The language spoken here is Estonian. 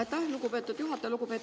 Aitäh, lugupeetud juhataja!